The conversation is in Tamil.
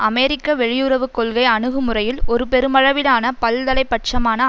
அமெரிக்க வெளியுறவு கொள்கை அணுகுமுறையில் ஒரு பெருமளவிலான பல்தலைப்பட்சமான